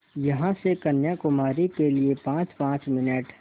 यहाँ से कन्याकुमारी के लिए पाँचपाँच मिनट